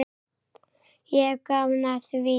Ég hef gaman af því.